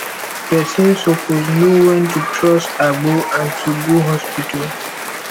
pesin suppose know wen to trust agbo and to go hospital